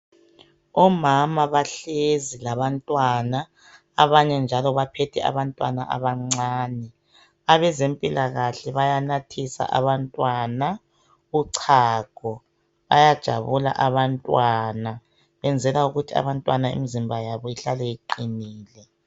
Omama bahlezi labantwana, abanye njalo baphethe abantwana abancane. Abezempilakahle bayanathisa abantwana uchago. Bayajabula abantwana. Benzela ukuthi abantwana imzimba yabo ihlale iiqinile.